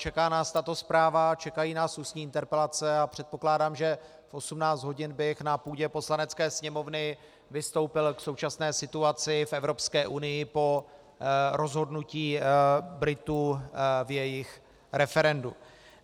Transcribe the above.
Čeká nás tato zpráva, čekají nás ústní interpelace a předpokládám, že v 18 hodin bych na půdě Poslanecké sněmovny vystoupil k současné situaci v Evropské unii po rozhodnutí Britů v jejich referendu.